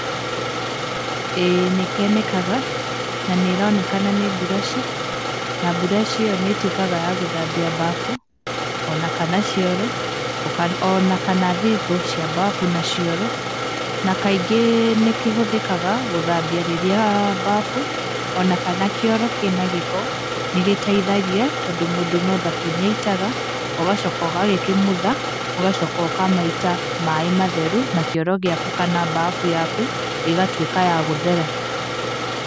ĩĩ nĩkĩonekaga, na nĩ ĩronekana nĩ mburaci, na mburaci ĩyo nĩ ĩtuĩkaga ya gũthambia mbabu, ona kana cioro, ona kana thingo cia mbabu na cioro, na kaingĩ nĩ kĩhũthĩkaga gũthambia rĩrĩa mbabu ona kana kĩoro kĩna gĩko, nĩ gĩteithagia, tondũ mũndũ no thabuni aitaga, ũgacoka ũgagĩkumutha, ũgacoka ũkamaita maĩ matheru, na kĩoro gĩaku kana mbabu yaku ĩgatuĩka ya gũthera.